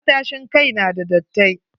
Matashin kai n da dattai.